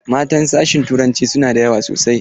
Matan sashin turanci sunada yawa sosai.